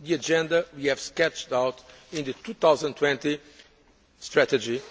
The agenda we have sketched out in the 2020 strategy,